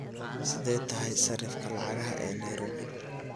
sidee tahay sarifka lacagaha ee nairobi?